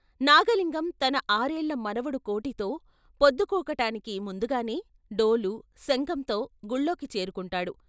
నాగలింగం తన ఆరేళ్ళ మనవడు కోటితో పొద్దుకూకటానికి ముందుగానే డోలు, శంఖంతో గుళ్ళోకి చేరుకుంటాడు.